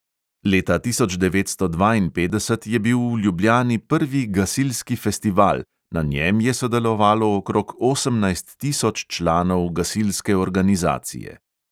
Leta tisoč devetsto dvainpetdeset je bil v ljubljani prvi gasilski festival, na njem je sodelovalo okrog osemnajst tisoč članov gasilske organizacije.